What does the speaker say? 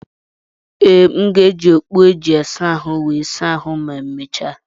Ee, m ga-eji okpu e ji asa ahụ wee saa ahụ ma emechaa.